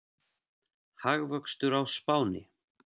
Hagvöxtur á Spáni